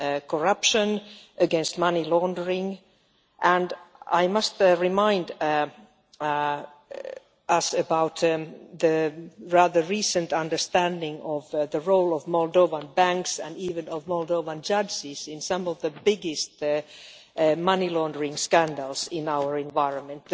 corruption, and against money laundering. I must remind the House about the rather recent understanding of the role of Moldovan banks, and even of Moldovan judges, in some of the biggest money laundering scandals in our environment.